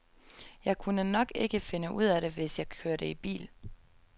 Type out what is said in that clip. Jeg kunne nok ikke finde ud af det, hvis jeg kørte i bil.